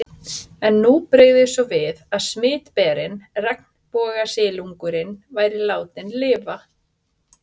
En nú brygði svo við að smitberinn, regnbogasilungurinn, væri látinn lifa.